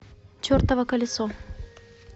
чертово колесо